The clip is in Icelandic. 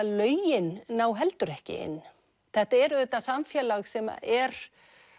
lögin ná heldur ekki inn þetta er auðvitað samfélag sem er